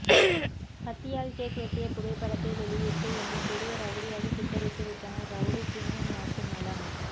கத்தியால் கேக் வெட்டிய புகைப்படத்தை வெளியிட்டு என்னை பெரிய ரவுடியாக சித்தரித்து விட்டனர் ரவுடி பினு வாக்குமூலம்